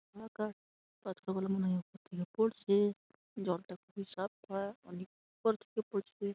নৌকা উপর থেকে পড়ছে জলটা খুবই অনেক উপর থেকে পড়ছে।